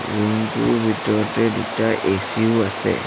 Room টোৰ ভিতৰতে দুটা এ_চি ও আছে।